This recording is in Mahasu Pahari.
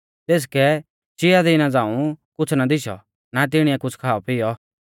तेसकै चिया दिना झ़ांऊ कुछ़ ना दिशौ ना तिणीऐ कुछ़ खाऔपिऔ